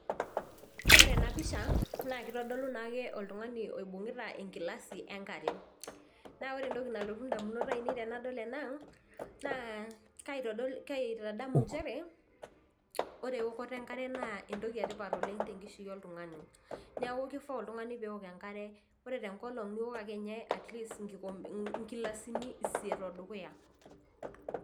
Ore enapisha naa kitodolu naake oltungani oibungita enkilasi enkare , naa ore entoki nalotu ndamunot ainei tenadol ena , naa kaitodol kaitadamu nchere ore eokoto enkare naa entoki etipat oleng tenkishui oltungani niaku kifaa oltungani peok enkare , ore tenkolong niok akenye atleast nkikompeni, nkilasini isiet odukuya.